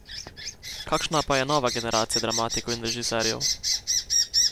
Kakšna pa je nova generacija dramatikov in režiserjev?